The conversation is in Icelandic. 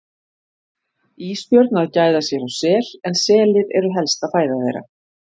Ísbjörn að gæða sér á sel en selir eru helsta fæða þeirra.